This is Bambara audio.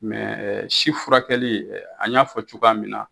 si furakɛli an y'a fɔ cogoya min na.